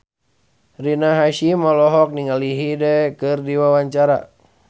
Rina Hasyim olohok ningali Hyde keur diwawancara